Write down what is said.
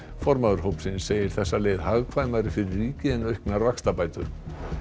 formaður hópsins segir þessa leið hagkvæmari fyrir ríkið en auknar vaxtabætur